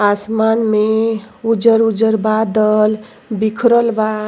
आसमान में उजर-उजर बदल बिखरल बा।